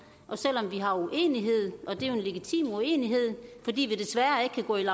og selv om vi har uenighed og det er jo en legitim uenighed fordi vi desværre ikke kan gå ind